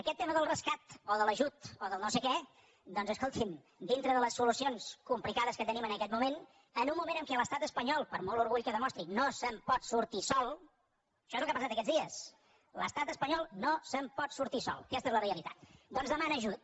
aquest tema del rescat o de l’ajut o del no sé què doncs escolti’m dintre de les solucions complicades que tenim en aquest moment en un moment en què l’estat espanyol per molt orgull que demostri no se’n pot sortir sol això és el que ha passat aquests dies l’estat espanyol no se’n pot sortir sol aquesta és la rea litat doncs demana ajut